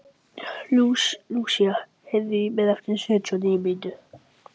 Lúsía, heyrðu í mér eftir sjötíu og níu mínútur.